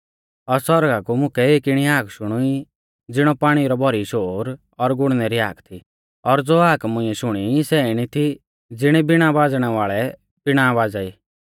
और सौरगा कु मुकै एक इणी हाक शुणुई ज़िणौ पाणी रौ भौरी शोर और गुड़णै री हाक थी और ज़ो हाक मुंइऐ शुणी सै इणी थी ज़िणी वीणा बाज़णै वाल़ै वीणा बाज़ा ई